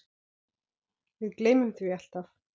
Við gleymum því alltaf